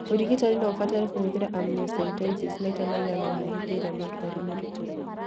Ũrigitani no ũbatare kũhũthĩra amniocentesis maita maigana ũna hĩndĩ ĩrĩa mũndũ arĩ mũritũ.